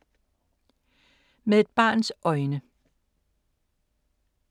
Med et barns øjne